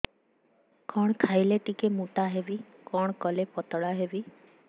କଣ ଖାଇଲେ ଟିକେ ମୁଟା ହେବି କଣ କଲେ ପତଳା ହେବି